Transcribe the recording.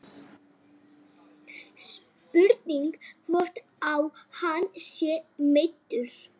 Spurning hvort að hann sé meiddur.